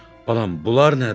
Balam, bunlar nədir?